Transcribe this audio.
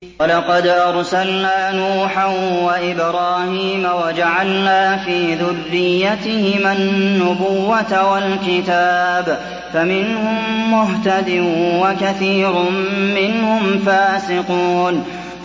وَلَقَدْ أَرْسَلْنَا نُوحًا وَإِبْرَاهِيمَ وَجَعَلْنَا فِي ذُرِّيَّتِهِمَا النُّبُوَّةَ وَالْكِتَابَ ۖ فَمِنْهُم مُّهْتَدٍ ۖ وَكَثِيرٌ مِّنْهُمْ فَاسِقُونَ